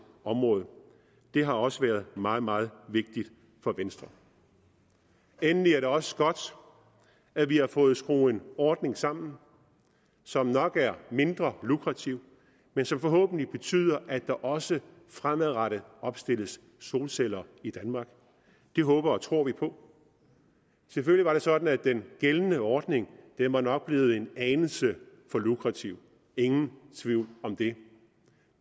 område det har også været meget meget vigtigt for venstre endelig er det også godt at vi har fået skruet en ordning sammen som nok er mindre lukrativ men som forhåbentlig betyder at der også fremadrettet opstilles solcelleanlæg i danmark det håber og tror vi på selvfølgelig var det sådan at den gældende ordning var blevet en anelse for lukrativ ingen tvivl om det